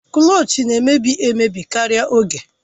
Klọch na-emebi emebi karịa oge